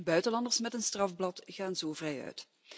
Buitenlanders met een strafblad gaan zo vrijuit.